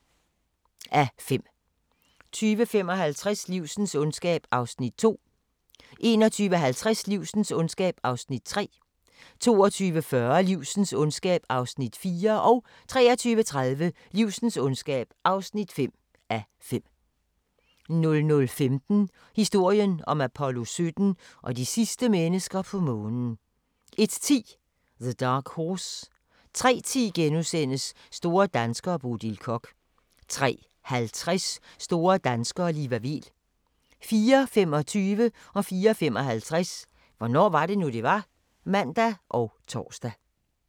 20:55: Livsens ondskab (2:5) 21:50: Livsens ondskab (3:5) 22:40: Livsens ondskab (4:5) 23:30: Livsens ondskab (5:5) 00:15: Historien om Apollo 17 og de sidste mennesker på Månen 01:10: The Dark Horse 03:10: Store danskere - Bodil Koch * 03:50: Store danskere - Liva Weel 04:25: Hvornår var det nu, det var? (man og tor) 04:55: Hvornår var det nu, det var? (man og tor)